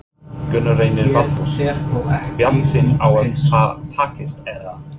Gunnar Reynir Valþórsson: Bjartsýn á að það takist, eða?